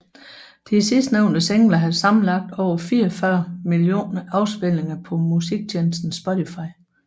De sidstnævnte singler har sammenlagt over 44 millioner afspilninger på musiktjenesten Spotify